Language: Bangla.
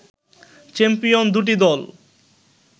চ্যাম্পিয়ন দুটি দল